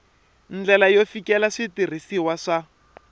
ndlela yo fikelela switirhisiwa swa